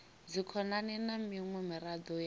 dzikhonani na miṅwe miraḓo ya